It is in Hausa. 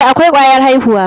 Eh, akwai kwayar aihuwa.